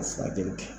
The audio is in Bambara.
Furakɛli kɛ